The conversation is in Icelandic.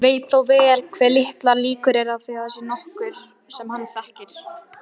Veit þó vel hve litlar líkur eru á að þar sé nokkur sem hann þekkir.